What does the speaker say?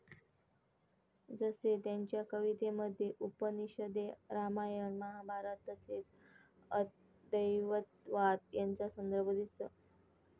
जसे त्यांच्या कवितेमध्ये 'उपनिषदे, रामायण, महाभारत तसेच, अद्वैतवाद यांचा संदर्भ दिसतो.